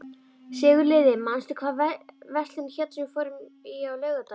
Sigurliði, manstu hvað verslunin hét sem við fórum í á laugardaginn?